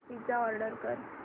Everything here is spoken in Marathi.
पिझ्झा ऑर्डर कर